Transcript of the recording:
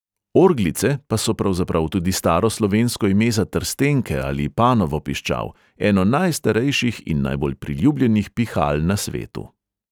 "Orglice" pa so pravzaprav tudi staro slovensko ime za trstenke ali panovo piščal, eno najstarejših in najbolj priljubljenih pihal na svetu.